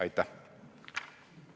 Aitäh!